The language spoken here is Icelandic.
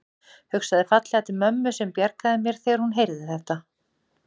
Hugsaði fallega til mömmu sem bjargaði mér þegar hún heyrði þetta.